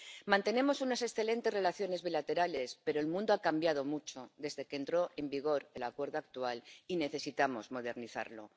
Mantenemos unas excelentes relaciones bilaterales, pero el mundo ha cambiado mucho desde que entró en vigor el Acuerdo actual y necesitamos modernizarlo.